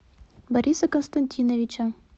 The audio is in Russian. бориса константиновича